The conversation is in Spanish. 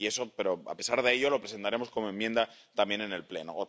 Pero, a pesar de ello, lo presentaremos como enmienda también en el Pleno.